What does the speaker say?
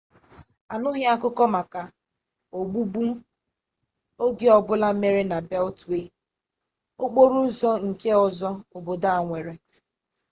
anụghị akụkọ maka ogbugbu oge ọbụla mere na beltwee okporo ụzọ nke ọzọ obodo a nwere